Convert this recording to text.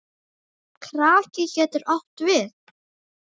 Kraki getur átt við